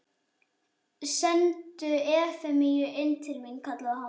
Sendu Efemíu inn til mín, kallaði hann.